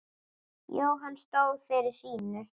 Jóhann stóð fyrir sínu.